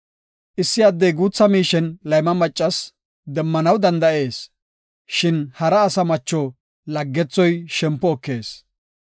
Issi addey guutha miishen layma maccas demmanaw danda7ees; shin hara asa macho laggethoy shempo ekees.